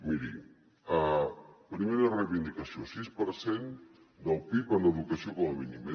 miri primera reivindicació sis per cent del pib en educació com a mínim